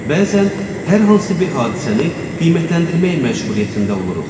Bəzən hər hansı bir hadisəni qiymətləndirmək məcburiyyətində oluruq.